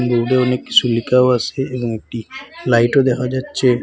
দেউলে অনেক কিসু লিখাও আসে এবং একটি লাইটও দেখা যাচ্ছে।